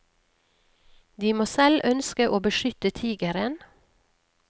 De må selv ønske å beskytte tigeren.